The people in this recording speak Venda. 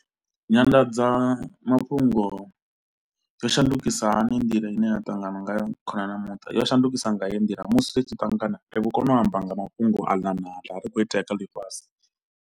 Nyanḓadza mafhungo yo shandukisa hani nḓila ine ya ṱangana nga khonani na muṱa, yo shandukisa nga heyi ndila, musi ri tshi ṱangana ri vho kona u amba nga mafhungo aḽa na aḽa ri khou itea kha ḽifhasi.